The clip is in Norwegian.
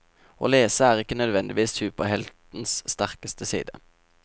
Å lese er ikke nødvendigvis superhelters sterkeste side.